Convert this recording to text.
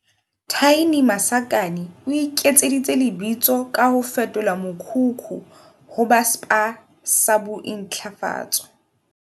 Thaini Masakane o iketseditse lebitso ka ho fetola mokhukhu ho ba Spa sa bo intlafatso.